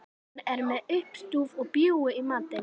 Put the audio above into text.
Hún er með uppstúf og bjúgu í matinn.